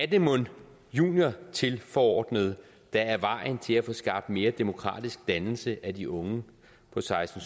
det mon juniortilforordnede der er vejen til at få skabt mere demokratisk dannelse af de unge på seksten